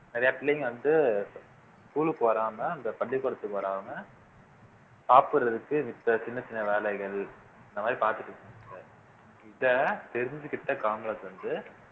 நிறைய பிள்ளைங்க வந்து school க்கு வராம இந்த பள்ளிக்கூடத்துக்கு வராம சாப்பிடறதுக்கு மித்த சின்னச் சின்ன வேலைகள் இந்த மாதிரி இத தெரிஞ்சுக்கிட்ட காமராஜர் வந்து